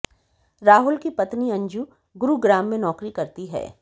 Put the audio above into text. राहुल की पत्नी अंजू गुरुग्राम में नौकरी करती है